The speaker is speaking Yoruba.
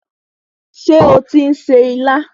Ṣé ó tí ń se ilá?